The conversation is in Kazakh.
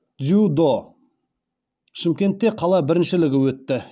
дзюдо шымкентте қала біріншілігі өтті